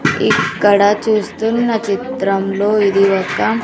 ఇక్కడ చూస్తున్న చిత్రంలో ఇది ఒక--